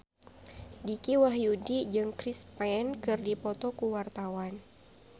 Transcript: Dicky Wahyudi jeung Chris Pane keur dipoto ku wartawan